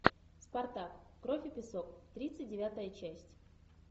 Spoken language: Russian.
спартак кровь и песок тридцать девятая часть